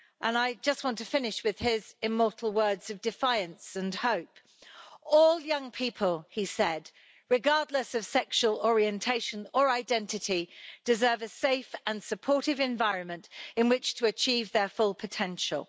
I just want to finish with his immortal words of defiance and hope all young people, regardless of sexual orientation or identity, deserve a safe and supportive environment in which to achieve their full potential'.